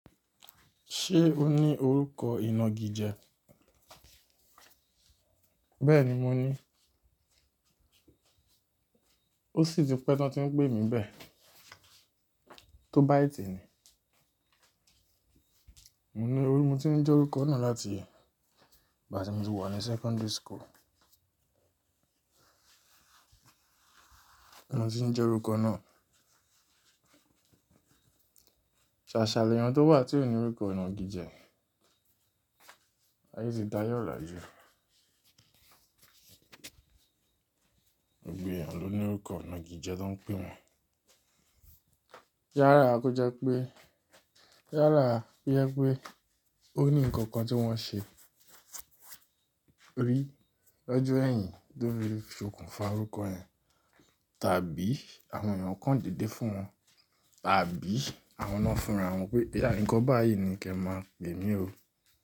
Ṣé o ní orúkọ ìnagijẹ? Bẹ́ẹ̀ni, mo ní. Ó sì ti pẹ́ tán tí ń pè mí bẹ́ẹ̀. Tóbìtẹ́ ni. Mo ní orí, mo ti ń jẹ́ orúkọ náà láti ya ìgbà tí mo ti wà ní secondary school. Mo ti ń jẹ́ orúkọ náà. Ṣàṣàlẹ̀ èèyàn tó wà tí ó ní orúkọ ìnagijẹ? Ayé tì dá ayé ọ̀lájú. Ògbe èèyàn ló ní orúkọ ìnagijẹ tó ń pè wọ́n. Yára kó jẹ́ pé, yára yẹ pé ó ní nǹkan kan tí wọ́n ṣe rí lọ́jọ́ ẹ̀yìn tó ń fi fokùn fà orúkọ ẹ̀, tàbí àwọn èèyàn kan dede fún wọn, tàbí àwọn náà fúnra wọn pé, "oya nǹkan báyìí ni kí ẹ máa pè mí ó."